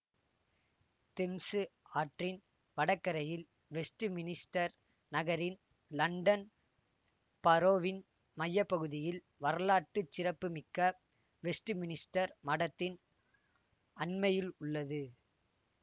Thames ஆற்றின் வடகரையில் Westminster நகரின் லண்டன் பரோவின் மைய பகுதியில் வரலாற்று சிறப்பு மிக்க வெஸ்ட் மினிஸ்டர் மடத்தின் அண்மையில் உள்ளது